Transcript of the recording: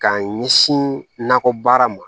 K'a ɲɛsin nakɔbaara ma